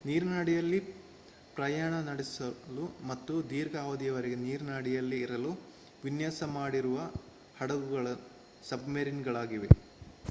ನೀರಿನ ಅಡಿಯಲ್ಲಿ ಪ್ರಯಾಣ ನಡೆಸಲು ಮತ್ತು ದೀರ್ಘ ಅವಧಿಯವರೆಗೆ ನೀರಿನ ಅಡಿಯಲ್ಲೇ ಇರಲು ವಿನ್ಯಾಸ ಮಾಡಿರುವ ಹಡಗುಗಳು ಸಬ್‌ಮರೀನ್‌ಗಳಾಗಿವೆ